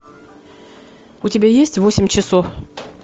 у тебя есть восемь часов